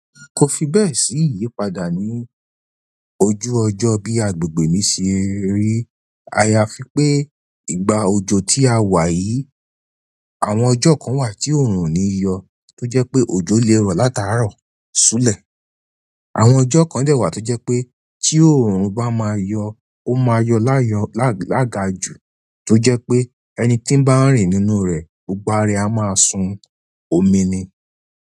Kò fi bẹ́ẹ̀ sí ìyípadà ní ojú ọjọ́ bí àgbègbè mi ṣe rí aya fí pé ìgbà òjò tí a wà yìí, àwọn ọjọ́ kan wà tí òòrùn ni yọ tó jẹ́ pé òjò lè rọ̀ látara rọ̀ súlẹ̀. Àwọn ọjọ́ kan dé wá tó jẹ́ pé tí òrùn bá má yóò oma yóò láyọ̀ lagaju tó jẹ́ pé ẹni tí n bá n rìn nínú rẹ̀ gbogbo ara ẹ a su omi ni.